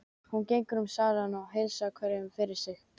Hún gengur um salinn og heilsar hverjum fyrir sig.